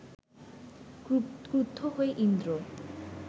ক্রুদ্ধ হয়ে ইন্দ্র